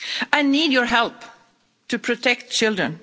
I need your help to protect children.